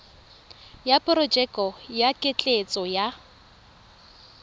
ya porojeke ya ketleetso ya